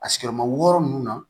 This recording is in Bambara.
A sigiyɔrɔma wɔɔrɔ nunnu na